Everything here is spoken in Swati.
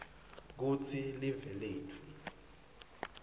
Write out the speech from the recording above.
kutsi live letfu